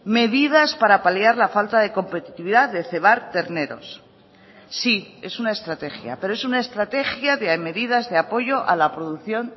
medidas para paliar la falta de competitividad de cebar terneros sí es una estrategia pero es una estrategia de medidas de apoyo a la producción